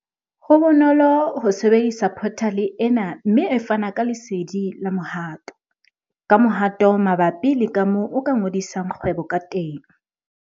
Ho bonolo ho sebedisa phothale ena mme e fana ka lesedi la mohato-kamohato mabapi le kamoo o ka ngodisang kgwebo kateng.